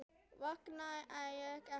Vangaði ég ekki vel?